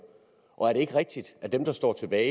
og er det ikke rigtigt at dem der står tilbage